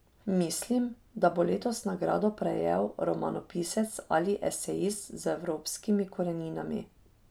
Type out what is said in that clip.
Mislim, da bo letos nagrado prejel romanopisec ali esejist z evropskimi koreninami.